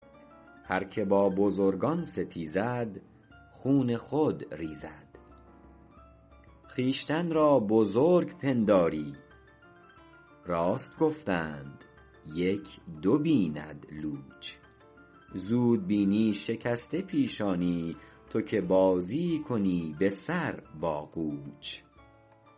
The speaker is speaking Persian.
هرکه با بزرگان ستیزد خون خود ریزد خویشتن را بزرگ پنداری راست گفتند یک دو بیند لوچ زود بینی شکسته پیشانی تو که بازی کنی به سر با قوچ